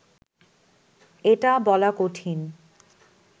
এটা বলা কঠিন